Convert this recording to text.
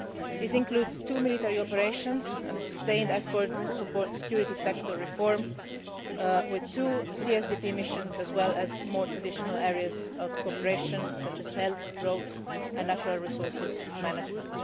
This includes two military operations and a sustained effort to support security sector reform with two CSDP missions, as well as more traditional areas of cooperation such as health, roads and natural resources management.